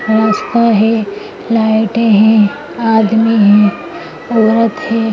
राश्ता है लाइटे हैं आदमी हैं औरत है |